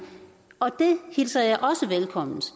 hilser jeg også velkomment